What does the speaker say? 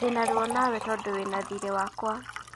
Ndĩna ruo nawe tondũ wĩna thirĩ wakwa